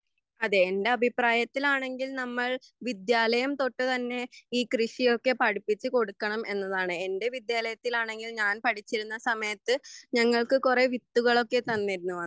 അതെ എൻ്റെ അഭിപ്രായത്തിലാണെങ്കിൽ നമ്മൾ വിദ്യാലയം തൊട്ടു തന്നെ ഈ കൃഷിയൊക്കെ പഠിപ്പിച്ചുകൊടുക്കണം എന്നതാണ് എൻ്റെ വിദ്യാലയത്തിൽ ആണെങ്കിൽ ഞാൻ പഠിച്ചിരുന്ന സമയത്ത് ഞങ്ങൾക്ക് കുറെ വിത്തുകളൊക്കെ തന്നിരുന്നു